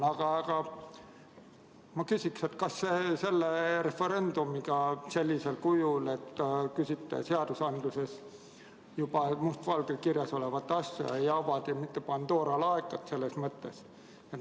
Aga ma küsin, kas selle referendumiga sellisel kujul, kui te küsite seaduses juba must valgel kirjas olevat asja, ei avata mitte Pandora laegast.